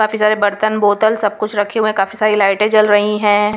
काफी सारे बर्तन बोतल सब कुछ रखे हुए हैं काफी सारी लाइटें जल रही हैं.